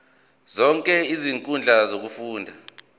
zonke izinkundla zokufunda